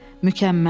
Mükəmməl.